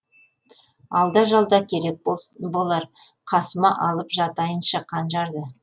алда жалда керек болар қасыма алып жатайыншы қанжарды